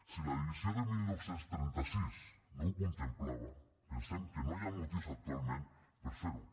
si la divisió de dinou trenta sis no ho contemplava pensem que no hi ha motius actualment per fer ho